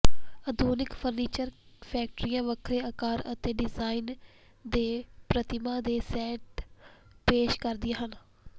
ਆਧੁਨਿਕ ਫਰਨੀਚਰ ਫੈਕਟਰੀਆਂ ਵੱਖਰੇ ਆਕਾਰ ਅਤੇ ਡਿਜ਼ਾਈਨ ਦੇ ਪ੍ਰਤਿਮਾ ਦੇ ਸੈੱਟ ਪੇਸ਼ ਕਰਦੀਆਂ ਹਨ